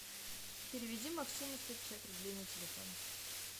переведи максиму сто пятьдесят рублей на телефон